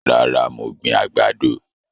Rárá, mo gbìn àgbàdo